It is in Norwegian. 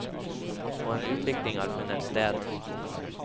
Og en utvikling har funnet sted.